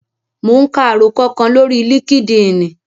Mò ún ka àròkọ kan lórí líkídíìnì